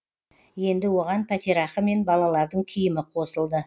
енді оған пәтерақы мен балалардың киімі қосылды